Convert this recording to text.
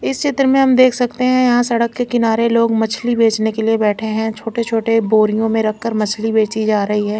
इस शेत्र में हम देख सकते है यहा सड़क के किनारे लोग मछली बेचने के लिए बेठे है छोटे छोटे बोरियो में रख कर मछलि बेचीं जा रही है।